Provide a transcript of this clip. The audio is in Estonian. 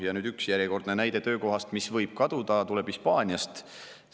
Ja üks järjekordne näide, mis võib kaduda, tuleb Hispaaniast.